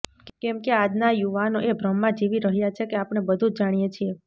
કેમ કે આજના યુવાનો એ ભ્રમમાં જીવી રહ્યા છે કે આપણે બધું જ જાણીએ છીએ